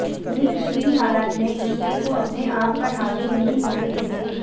ये किसी भी हालात में गुस्से को अपने आप पर हावी नहीं होने देते